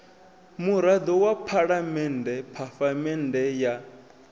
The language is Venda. murado wa phalamende phafamende ya